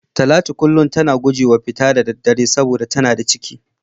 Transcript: Talatu kullum tana gujewa fita da daddare saboda tana da ciki.